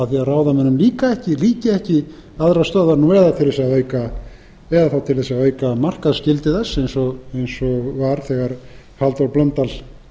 ráðamönnum líki ekki aðrar stöðvar nú eða þá til að auka markaðsgildi þess eins og var þegar halldór blöndal